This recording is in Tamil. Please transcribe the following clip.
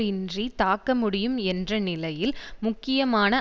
இன்றி தாக்க முடியும் என்ற நிலையில் முக்கியமான